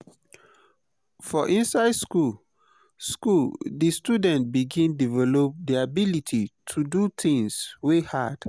for inside school school di student begin develop di ability to do things wey hard